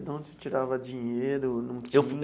De onde você tirava dinheiro não tinha?